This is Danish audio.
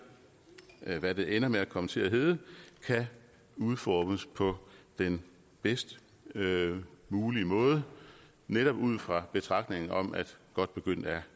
hvad det ender med at komme til at hedde kan udformes på den bedst mulige måde netop ud fra betragtningen om at godt begyndt er